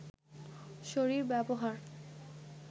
শরীর ব্যবহার